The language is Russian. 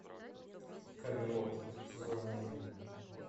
камелот сезон один